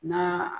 Na